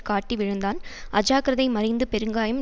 காட்டி விழுந்தான் அஜாக்கிரதை மறைந்து பெருங்காயம்